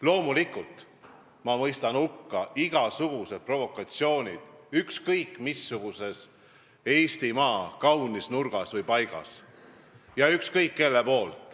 Loomulikult mõistan ma hukka ükskõik kelle toimepandud provokatsioonid ükskõik missuguses Eestimaa kaunis nurgas või paigas.